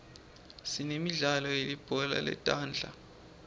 sinemidlalo yelibhola letandla